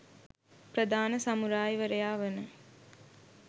ප්‍රධාන සමුරායි වරයා වන